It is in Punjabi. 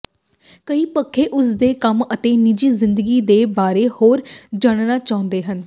ਕਈ ਪੱਖੇ ਉਸ ਦੇ ਕੰਮ ਅਤੇ ਨਿੱਜੀ ਜ਼ਿੰਦਗੀ ਦੇ ਬਾਰੇ ਹੋਰ ਜਾਣਨਾ ਚਾਹੁੰਦੇ ਹਨ